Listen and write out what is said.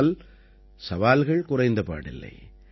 ஆனால் சவால்கள் குறைந்தபாடில்லை